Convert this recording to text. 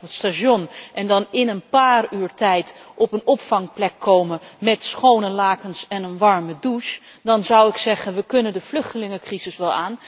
het station in München en dan in een paar uur tijd op een opvangplek komen met schone lakens en een warme douche, dan zou ik zeggen we kunnen de vluchtelingencrisis wel aan.